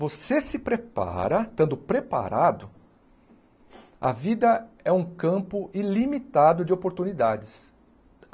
Você se prepara, estando preparado, a vida é um campo ilimitado de oportunidades.